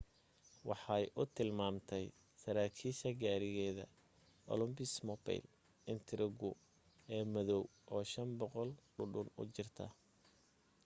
waxay u tilmaamtay saraakiisha gaarigeeda oldsmobile intrigue ee madow oo 500 dhudhun u jirta